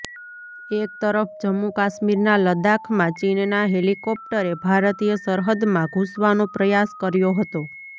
એક તરફ જમ્મુ કાશ્મીરના લદાખમાં ચીનના હેલિકોપ્ટરે ભારતીય સરહદમાં ઘૂસવાનો પ્રયાસ કર્યો હતો